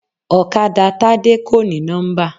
Ọ̀kadà Tádé kò ní nọ́mbà.